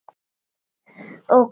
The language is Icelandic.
Og Gumma.